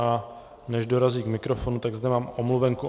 A než dorazí k mikrofonu, tak zde mám omluvenku.